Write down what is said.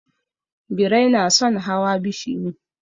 Birai na son hawa bishiyu.